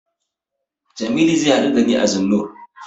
Jamilu zai haɗu da ni a Zennoor.